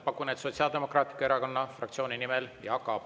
Pakun, et Sotsiaaldemokraatliku Erakonna fraktsiooni nimel, Jaak Aab.